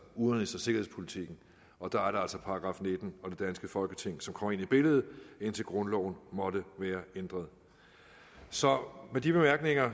udenrigs og sikkerhedspolitikken og der er det altså § nitten og det danske folketing som kommer ind i billedet indtil grundloven måtte være ændret så med de bemærkninger